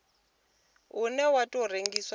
une wa tou rengiwa dzi